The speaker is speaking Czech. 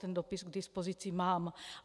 Ten dopis k dispozici mám.